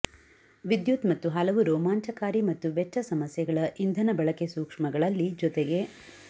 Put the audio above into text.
ವಿದ್ಯುತ್ ಮತ್ತು ಹಲವು ರೋಮಾಂಚಕಾರಿ ಮತ್ತು ವೆಚ್ಚ ಸಮಸ್ಯೆಗಳ ಇಂಧನ ಬಳಕೆ ಸೂಕ್ಷ್ಮಗಳಲ್ಲಿ ಜೊತೆಗೆ